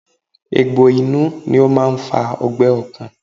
Egbò inú ni ó máa ń fa ọgbẹ́ ọkàn